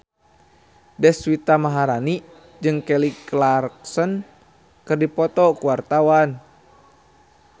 Deswita Maharani jeung Kelly Clarkson keur dipoto ku wartawan